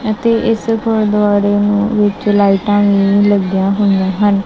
ਅਤੇ ਇੱਸ ਗੁਰਦੁਆਰੇ ਨੂੰ ਵਿੱਚ ਲਾਈਟਾਂ ਵੀ ਲੱਗਿਆਂ ਹੋਇ ਆਂ ਹਨ।